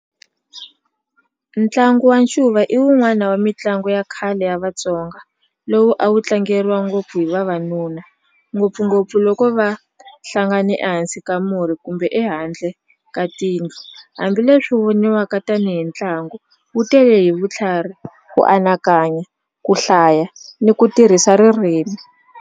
Ntlangu wa ncuva i wun'wani wa mitlangu ya khale ya Vatsonga lowu a wu tlangeriwa ngopfu hi vavanuna ngopfungopfu loko va hlangane ehansi ka a murhi kumbe ehandle ka tindlu hambileswi voniwaka tanihi ntlangu wu tele hi vutlhari ku anakanya ku hlaya ni ku tirhisa ririmi.